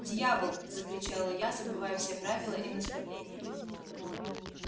дьявол закричала я забывая все правила и наставления